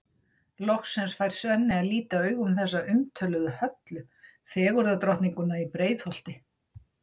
Loksins fær Svenni að líta augum þessa umtöluðu Höllu, fegurðardrottninguna í Breiðholti.